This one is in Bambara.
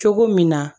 Cogo min na